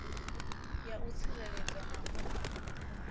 ya u tsireledza na u